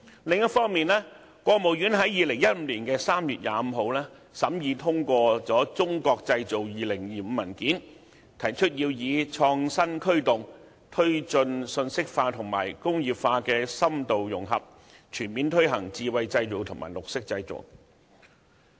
另一方面，國務院在2015年3月25日審議通過《中國製造2025》文件，提出要以創新科技，推進信息化與工業化深度融合，全面推行智慧製造和綠色製造。